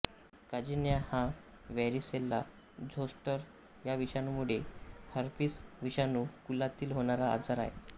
कांजिण्या हा varicella zoster या विषाणूमुळे हर्पिस विषाणू कुलातील होणारा आजार आहे